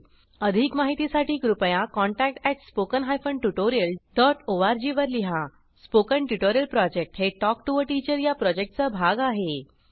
अधिक माहितीसाठी कृपया contact spoken hyphen tutorial dot org वर लिहा स्पोकन ट्युटोरियल प्रॉजेक्ट हे टॉक टू टीचर या प्रॉजेक्टचा भाग आहे